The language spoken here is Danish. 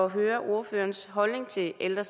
at høre ordførerens holdning til ældre